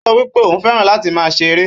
Ó sọ wípé ó fẹ́ràn láti máa ṣe eré